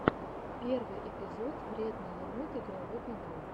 первый эпизод вредный енот игровой канал